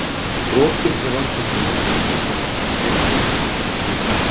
Brotum í rannsóknum má skipta í tvennt: misferli og svik.